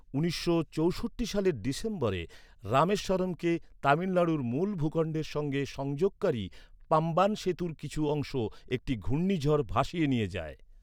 উনিশশো চৌষট্টি সালের ডিসেম্বরে, রামেশ্বরমকে তামিলনাড়ুর মূল ভূখণ্ডের সঙ্গে সংযোগকারী পাম্বান সেতুর কিছু অংশ একটি ঘূর্ণিঝড় ভাসিয়ে নিয়ে যায়।